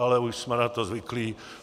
Ale už jsme na to zvyklí.